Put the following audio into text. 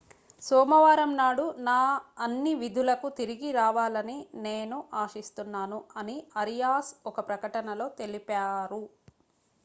సోమవారం నాడు నా అన్ని విధులకు తిరిగి రావాలని నేను ఆశిస్తున్నాను' అని ఆరియాస్ ఒక ప్రకటనలో తెలిపారు